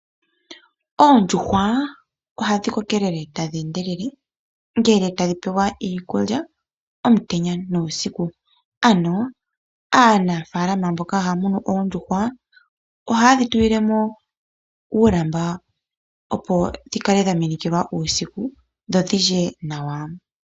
Oondjuhwa ohadhi kokelele tadhi endelele ngele tadhi pewa iikulya omutenya nuusiku. Ano aanafaalama mboka haya munu oondjuhwa ohayedhi tulile mo uulamba opo dhikale dha minikilwa uusiku dho dhi lye nawa.